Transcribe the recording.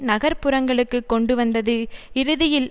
நகர் புறங்களுக்கு கொண்டுவந்தது இறுதியில்